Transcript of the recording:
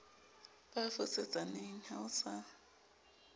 ba fosetsaneng ha o sa